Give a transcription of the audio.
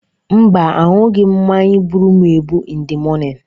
Mba, aṅụghị m mmanya gburu m egbu in the morning.